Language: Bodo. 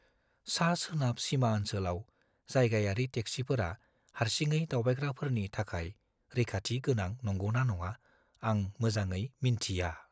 सा-सोनाब सिमा ओन्सोलाव जायगायारि टेक्सिफोरा हारसिङै दावबायग्राफोरनि थाखाय रैखाथि गोनां नंगौ ना नङा, आं मोजाङै मिन्थिया।